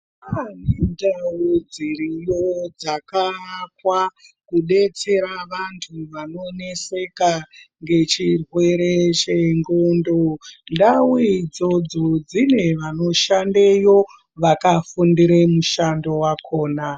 Kune ndau dziriyo dzakaakwa kudetsera vantu vanoneseka ngechirwere chenxondo ndau idzodzo dzine vanoshandeyo vakafundire mushando wakona .